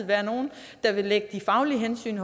være nogle der vil lægge de faglige hensyn